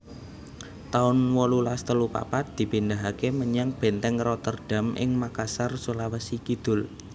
taun wolulas telu papat dipindahaké menyang Bèntèng Rotterdam ing Makassar Sulawesi Kidul